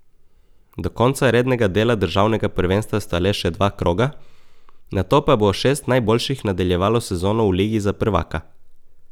Do konca rednega dela državnega prvenstva sta le še dva kroga, nato pa bo šest najboljših nadaljevalo sezono v ligi za prvaka.